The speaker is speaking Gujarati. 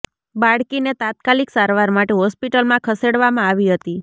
બાળકીને તાત્કાલિક સારવાર માટે હોસ્પિટલમાં ખસેડવામાં આવી હતી